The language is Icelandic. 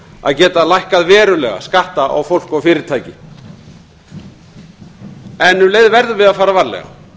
að geta lækkað verulega skatta á fólk og fyrirtæki en um leið verðum við að fara varlega